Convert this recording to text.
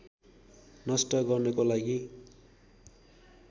नष्ट गर्नको लागि